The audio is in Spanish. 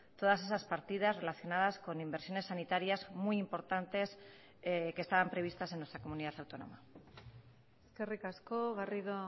todas esas partidas relacionadas con inversiones sanitarias muy importantes que estaban previstas en nuestra comunidad autónoma eskerrik asko garrido